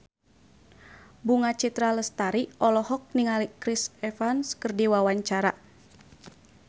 Bunga Citra Lestari olohok ningali Chris Evans keur diwawancara